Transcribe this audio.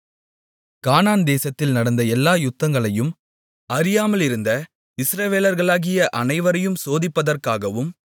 கானான் தேசத்தில் நடந்த எல்லா யுத்தங்களையும் அறியாமலிருந்த இஸ்ரவேலர்களாகிய அனைவரையும் சோதிப்பதற்காகவும்